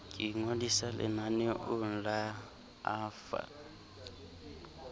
ke ingodisa lenaneong la afa